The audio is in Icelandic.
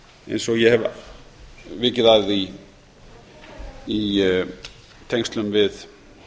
eins og ég hef vikið að í tengslum við